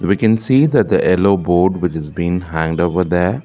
we can see that the yellow board which is been hanged over their.